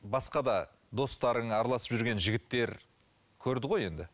басқа да достарың араласып жүрген жігіттер көрді ғой енді